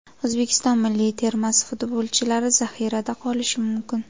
O‘zbekiston milliy termasi futbolchilari zaxirada qolishi mumkin.